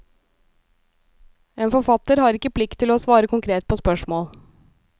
En forfatter har ikke plikt til å svare konkret på spørsmål.